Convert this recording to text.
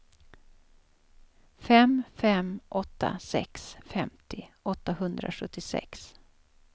fem fem åtta sex femtio åttahundrasjuttiosex